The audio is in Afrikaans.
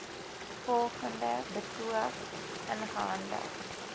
volgende betoog ingehandig